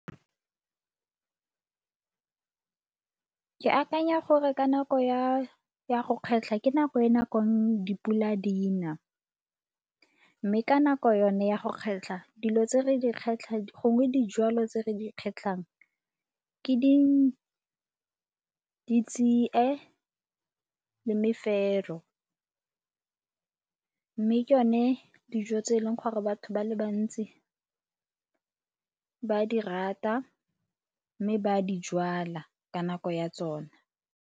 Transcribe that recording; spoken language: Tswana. Ke akanya gore ka nako ya, ya go kgetlha ke nako e nakong dipula di na mme ka nako yone ya go kgetlha dilo tse re di kgetlhang gongwe dijalo tse re di kgatlhang ke ditsie le mefero. Mme ke yone dijo tse e leng gore batho ba le bantsi ba di rata mme ba di jwala ka nako ya tsona.